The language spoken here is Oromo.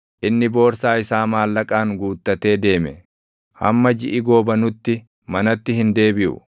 Inni boorsaa isaa maallaqaan guuttatee deeme; hamma jiʼi goobanutti manatti hin deebiʼu.”